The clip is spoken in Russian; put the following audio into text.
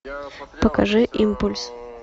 покажи импульс